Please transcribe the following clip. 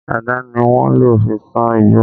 Àdá ni wọ́n lò fi sán igbó